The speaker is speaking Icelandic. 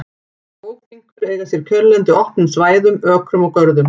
Bókfinkur eiga sér kjörlendi á opnum svæðum, ökrum og görðum.